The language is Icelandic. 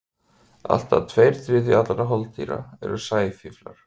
Allt að tveir þriðju allra holdýra eru sæfíflar.